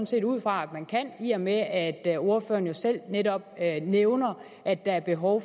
set ud fra at man kan i og med at at ordføreren jo selv netop nævner at der er behov